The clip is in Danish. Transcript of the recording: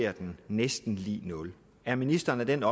er den næsten lig nul er ministeren af den